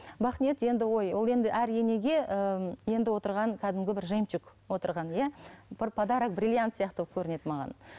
бақниет енді ой ол енді әр енеге ііі енді отырған кәдімгі бір жемчуг отырған иә бір подарок бриллиант сияқты болып көрінеді маған